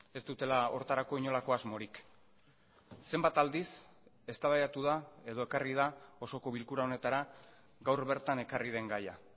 ez dutela horretarako inolako asmorik zenbat aldiz eztabaidatu da edo ekarri da osoko bilkura honetara gaur bertan ekarri den gaia